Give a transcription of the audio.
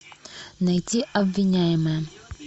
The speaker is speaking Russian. найти обвиняемая